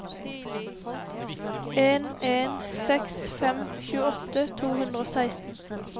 en en seks fem tjueåtte to hundre og seksten